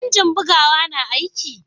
injin bugawa na aiki?